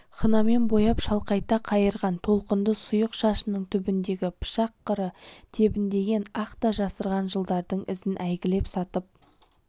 хнамен бояп шалқайта қайырған толқынды сұйық шашының түбіндегі пышақ қыры тебіндеген ақ та жасырған жылдардың ізін әйгілеп сатып